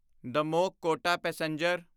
Damoh Kota passenger